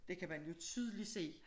Det kan man jo tydeligt se